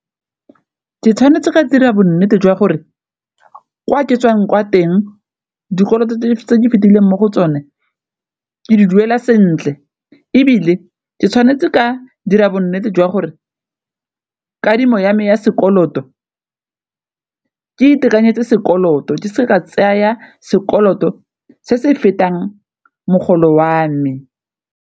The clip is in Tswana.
Ke tshwanetse ka dira bonnete jwa gore kwa ke tswang kwa teng dikoloto tse ke fetileng mo go tsone ke di duela sentle, ebile ke tshwanetse ka dira bonnete jwa gore kadimo ya me ya sekoloto ke itekanetse sekoloto di seka tseya sekoloto se se fetang mogolo wa me.